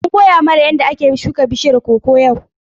An koya mana yadda ake shuka bishiyar koko yau.